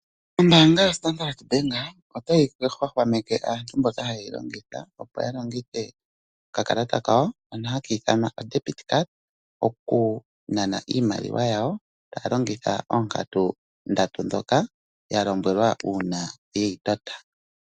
Ombaanga yoStandard bank otayi hwahwameke aantu mboka haye yi longitha opo yalongithe okakalata kawo hono haka ithanwa "o-debit card" okunana iimaliwa yawo taya longitha oonkatu ndatu ndhoka yalombwelwa uuna yeyi tota.